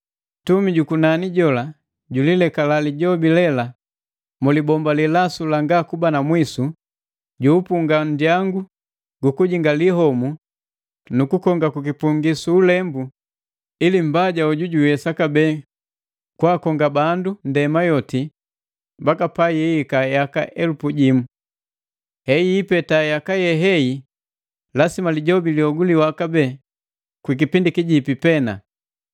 Ntumi jukunani jola julilekala Lijobi lela mu libomba lilasu langa kuba na mwisu, juupunga nndyangu gukujingali homu nu kukonga kwi kipungi su ulembu ili Mbaja hoju jiiwesa kabee kwaakonga bandu ndema yoti mbaka pa yiika yaka elupu jimu. Eyipeta yaka yehei lasima Lijobi lihoguliwa kabee kwikipindi kijipi pena.